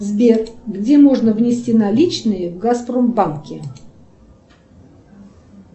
сбер где можно внести наличные в газпромбанке